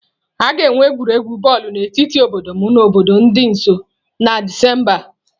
A ga-enwe egwuregwu bọọlụ n'etiti obodo m na obodo dị nso na Disemba a.